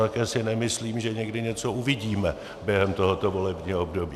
Také si nemyslím, že někdy něco uvidíme během tohoto volebního období.